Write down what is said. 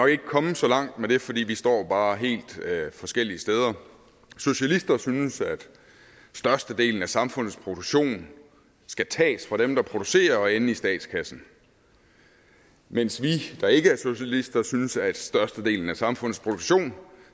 ikke komme så langt med det fordi vi står bare helt forskellige steder socialister synes at størstedelen af samfundets produktion skal tages fra dem der producerer og ende i statskassen mens vi der ikke er socialister synes at størstedelen af samfundets produktion